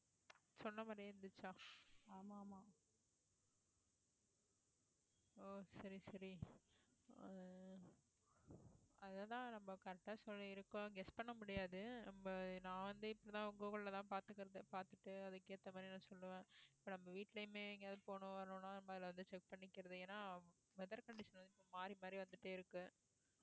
அதான் correct ஆ சொல்லி இருக்கோம் guess பண்ண முடியாது இப்ப நான் வந்து இப்பதான் கூகுள்லதான் பார்த்துகிறது பார்த்துட்டு அதுக்கு ஏத்த மாதிரி நான் சொல்லுவேன் இப்ப நம்ம வீட்டுலயுமே எங்கயாவது போனோம் வரணும்னா இப்ப அதுல வந்து check பண்ணிக்கிறது ஏன்னா weather condition வந்து மாறி மாறி வந்துட்டே இருக்கு